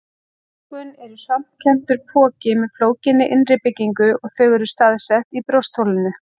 Lungun eru svampkenndur poki með flókinni innri byggingu og þau eru staðsett í brjóstholinu.